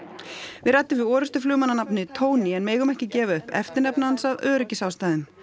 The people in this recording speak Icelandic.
við ræddum við orrustuflugmann að nafni Tony en megum ekki gefa upp eftirnafn hans af öryggisástæðum